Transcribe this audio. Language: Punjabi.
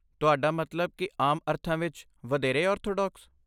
ਤੁਹਾਡਾ ਮਤਲਬ ਕਿ ਆਮ ਅਰਥਾਂ ਵਿੱਚ ਵਧੇਰੇ ਆਰਥੋਡਾਕਸ?